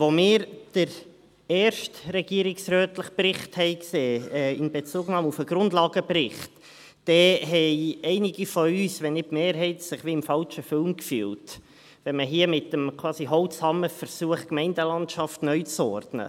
Als wir den ersten regierungsrätlichen Bericht sahen, in Bezugnahme auf den Grundlagenbericht, fühlten sich einige von uns, wenn nicht die Mehrheit, wie im falschen Film, weil man hier quasi mit dem Holzhammer versucht, die Gemeindelandschaft neu zu ordnen.